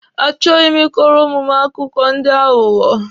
A chọghi m ị kọrọ ụmụ m akụkọ ndị aghụghọ.